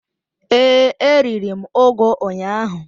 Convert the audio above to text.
Ee, e riri m ugu ụnyaahụ.